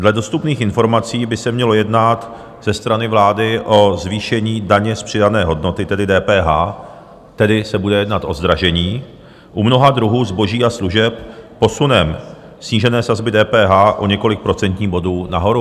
Dle dostupných informací by se mělo jednat ze strany vlády o zvýšení daně z přidané hodnoty, tedy DPH, tedy se bude jednat o zdražení u mnoha druhů zboží a služeb posunem snížené sazby DPH o několik procentních bodů nahoru.